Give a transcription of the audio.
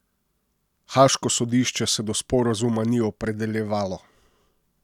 Haaško sodišče se do sporazuma ni opredeljevalo.